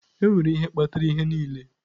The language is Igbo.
Enwere ihe kpatara ihe niile.